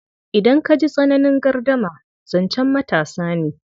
Idan ka ji tsananin gardama, zancen matasa ne.